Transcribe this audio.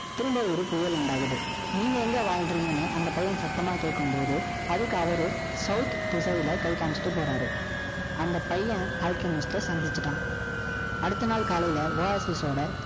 திரும்ப ஒரு புயல் உண்டாகுது. நீங்க எங்க வாழ்றீங்கன்னு, அந்த பையன் சத்தமா கேட்கும்போது, அதுக்கு அவரு, south திசைல, கை காமிச்சிட்டு போறாரு. அந்த பையன் சந்திச்சுட்டான். அடுத்த நாள் காலையில, Oasis ஓட,